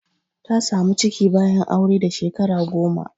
Ta samu ciki bayan aure da Shekara goma.